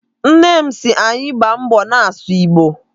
Nne m si anyị gbaa mbọ na-asụ Igbo.